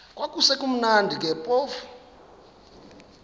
kwakusekumnandi ke phofu